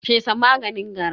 fesa maganin gara.